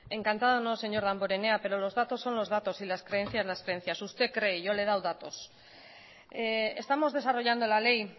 encantada no señor damborenea pero lo datos son los datos y las creencias las creencias usted cree yo le he dado datos estamos desarrollando la ley